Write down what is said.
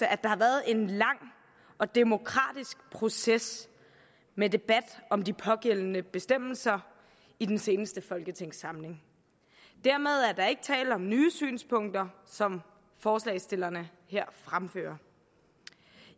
at der har været en lang og demokratisk proces med debat om de pågældende bestemmelser i den seneste folketingssamling dermed er der ikke tale om nye synspunkter som forslagsstillerne her fremfører